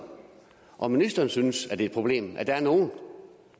om ministeren synes det er et problem at der er nogle